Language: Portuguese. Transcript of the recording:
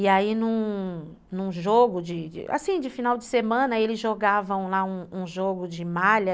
E aí num num jogo de... Assim, de final de semana, eles jogavam lá um um jogo de malha.